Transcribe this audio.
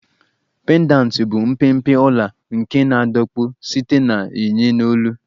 Pendanti bụ mpempe ọla nke na-adọkpụ site na yinye n'olu